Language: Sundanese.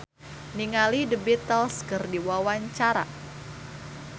Agus Kuncoro olohok ningali The Beatles keur diwawancara